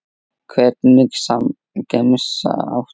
Hvernig gemsa áttu?